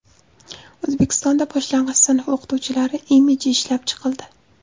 O‘zbekistonda boshlang‘ich sinf o‘qituvchilari imiji ishlab chiqildi.